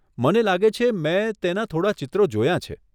મને લાગે છે મેં તેના થોડાં ચિત્રો જોયાં છે.